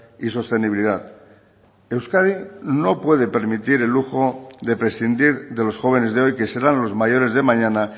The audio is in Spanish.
y sostenibilidad euskadi no puede permitir el lujo de prescindir de los jóvenes de hoy que serán los mayores de mañana